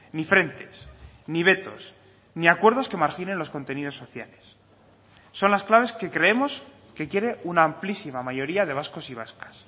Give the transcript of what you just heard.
ni frentes ni vetos ni acuerdos que marginen los contenidos sociales son las claves que creemos que quiere una amplísima mayoría de vascos y vascas